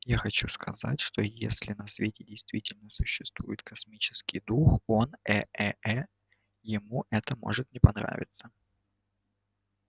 я хочу сказать что если на свете действительно существует космический дух он э э э ему это может не понравиться